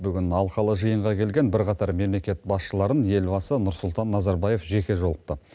бүгін алқалы жиынға келген бірқатар мемлекет басшыларын елбасы нұрсұлтан назарбаев жеке жолықты